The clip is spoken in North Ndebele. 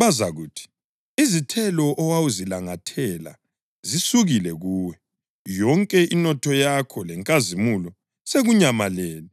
Bazakuthi, “Izithelo owawuzilangathela zisukile kuwe. Yonke inotho yakho lenkazimulo sekunyamalele,